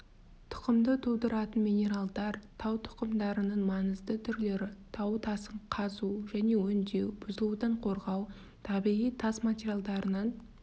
тұқымды тудыратын минералдар тау тұқымдарының маңызды түрлері тау тасын қазу және өңдеу бұзылудан қорғау табиғи тас материалдарынан